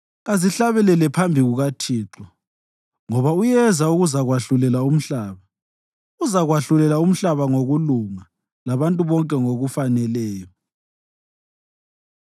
kazihlabele phambi kukaThixo, ngoba Uyeza ukuzakwahlulela umhlaba. Uzakwahlulela umhlaba ngokulunga labantu bonke ngokufaneleyo.